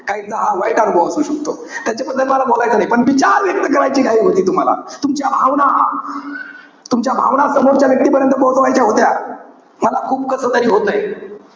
काहींचा हा वाईट अनुभव असू शकतो. त्याच्याबद्दल मला बोलायचं नाही. विचार व्यक्त करायची घाई होती तुम्हाला. तुमच्या भावना, तुमच्या भावना समोरच्या व्यक्तीपर्यंत पोहोचवायचा होत्या. मला खूप कसतरी होतंय.